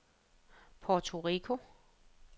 Puerto Rico